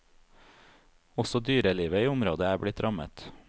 Også dyrelivet i området er blitt rammet.